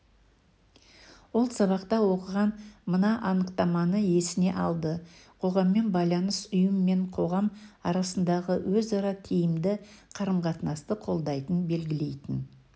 ол сабақта оқыған мына анықтаманы есіне алды қоғаммен байланыс ұйым мен қоғам арасындағы өзара тиімді қарым-қатынасты қолдайтын белгілейтін